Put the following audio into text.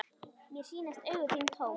Mér sýnast augu þín tóm.